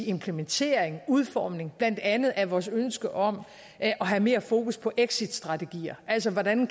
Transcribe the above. implementeringen udformningen blandt andet af vores ønske om at have mere fokus på exitstrategier altså hvordan